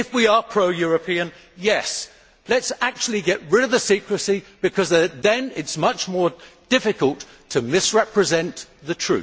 If we are pro European, let us actually get rid of the secrecy because then it is much more difficult to misrepresent the